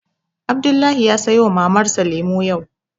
Abdullahi ya sayo wa Mamar sa lemu yau